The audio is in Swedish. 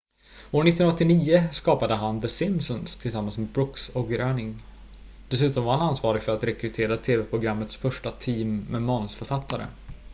år 1989 skapade han the simpsons tillsammans med brooks och groening dessutom var han ansvarig för att rekrytera tv-programmets första team med manusförfattare